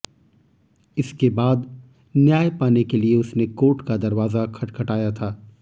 इसके बाद न्याय पाने के लिए उसने कोर्ट का दरवाजा खटखटाया था